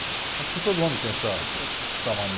Acho que todo homem tem essa, essa mania, né?